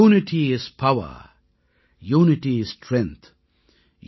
unity is power unity is strength